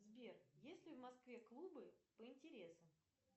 сбер есть ли в москве клубы по интересам